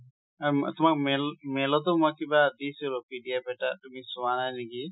এ~ তোমাক mail~ mail অতো মই কিবা দিছু, PDF এটা, তুমি চোৱা নাই নেকি?